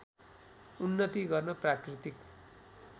उन्नति गर्न प्राकृतिक